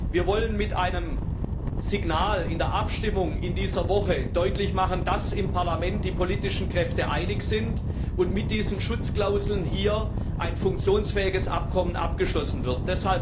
Wir wollen mit der Abstimmung in dieser Woche signalisieren, dass im Parlament die politischen Kräfte einig sind und mit diesen Schutzklauseln hier ein funktionsfähiges Abkommen abgeschlossen wird.